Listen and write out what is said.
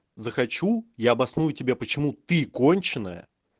захочу и обосную тебя почему ты конченая